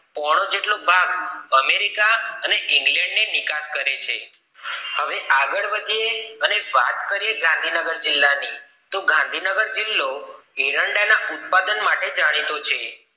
પોહનો જેટલો ભાગ અમેરિકા અને ઇંગ્લે્ડ ને નિકાસ કરે છે હવે આગળ વધીએ અને વાત કરીએ ગાંધીનગર જિલ્લા ની ગાંધીનગર જિલ્લો એરંડા ના ઉત્પાદન માટે જાણીતો છે